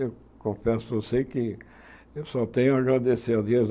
Eu confesso a você que eu só tenho a agradecer a Deus.